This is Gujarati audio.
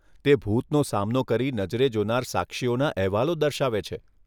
તે ભૂતનો સામનો કરી નજરે જોનાર સાક્ષીઓના અહેવાલો દર્શાવે છે.